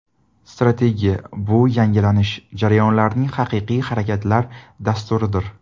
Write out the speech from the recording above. Strategiya – bu yangilanish jarayonlarining haqiqiy harakatlar dasturidir.